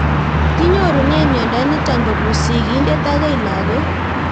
Kinyorunee miondo nitok kopun sig'indet akoi lag'ok